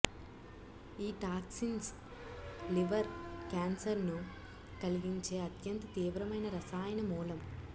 ఈ toxins liver కేన్సర్ను కలిగించే అత్యంత తీవ్రమైన రసాయన మూలం